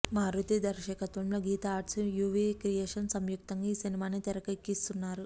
మారుతి దర్శకత్వంలో Geetha Arts UV Creations సంయుక్తంగా ఈ సినిమాని తెరకెక్కిస్తున్నారు